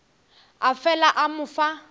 a fela a mo fa